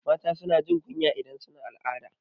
Mata suna jin kunya idan suna al'ada